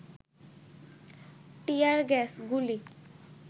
টিয়ার gas, গুলি